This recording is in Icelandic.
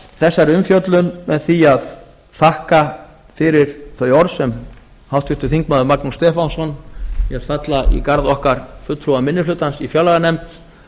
þegar umfjöllun með því að þakka fyrir þau orð sem háttvirtur þingmaður magnús stefánsson lét falla í garð okkar fulltrúa minni hlutans í fjárlaganefnd